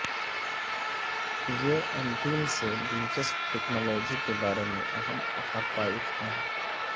یہ انٹیل سے دلچسپ ٹیکنالوجی کے بارے میں اہم حقائق ہیں